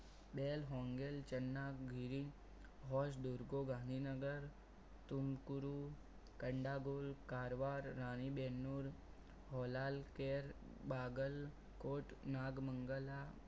બેલ હોમગેટ ચંદા ગીરી હોજ દૂંગા ગાંધીનગર ટુ ગુરુ કંદાકુલ કરવા રાણીબેન નુર હલાલ કેર બાગલ કોટ નાગ મંગલા